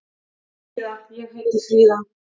Fríða: Ég heiti Fríða.